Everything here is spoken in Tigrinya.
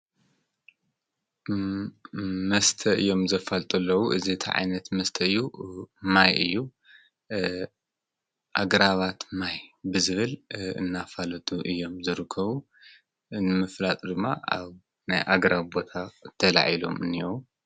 መስተ እዮም ዘፋልጥለዉ። እዚ ታይ ዓይነት መስተ እዩ? ማይ እዩ። ኣግራባት ማይ ብዝብል እናፋለጡ እዮም ዝርከቡ። ንምፍላጥ ድማ ኣብ ናይ ኣገራብ ቦታ ተላዒሎም አለዉ።